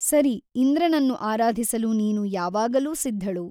ಸರಿ ಇಂದ್ರನನ್ನು ಆರಾಧಿಸಲು ನೀನು ಯಾವಾಗಲೂ ಸಿದ್ಧಳು.